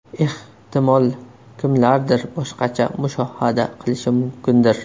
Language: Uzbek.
Ehtimol, kimlardir boshqacha mushohada qilishi mumkindir.